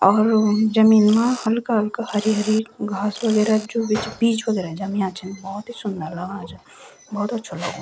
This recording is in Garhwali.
औरहो क जमीन मा हल्का हल्का हरी हरी घास वगैरा जू भी च बीज वगैरा जम्या छन भौत ही सुन्दर लगणा छन भौत अच्छो लगणु।